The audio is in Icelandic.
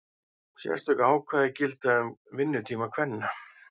Sérstök ákvæði gilda um vinnutíma kvenna.